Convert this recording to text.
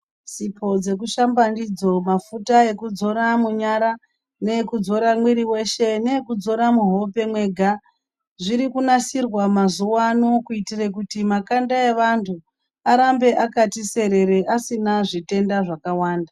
Sipo dzekushamba ndidzo, mafuta ekudzora munyara, neekudzora mwiri weshe neekudzora mwuhope mwega, zviri kunasirwa mazuwano kuitire kuti makanda evantu, arambe akati serere asina zvitenda zvakawanda.